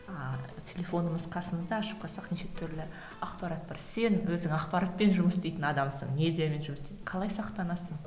ааа телефонымыз қасымызда ашып қалсақ неше түрлі ақпарат бар сен өзің ақпаратпен жұмыс істейтін адамсың медиамен жұмыс істейтін қалай сақтанасың